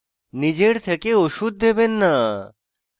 নিজের থেকে ওষুধ দেবেন না